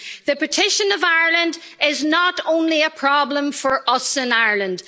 The partition of Ireland is not only a problem for us in Ireland.